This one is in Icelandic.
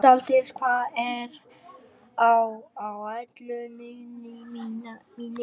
Saldís, hvað er á áætluninni minni í dag?